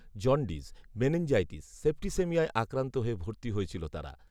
jaundice, meningitis, সেপ্টিসেমিয়ায় আক্রান্ত হয়ে ভর্তি হয়েছিল তারা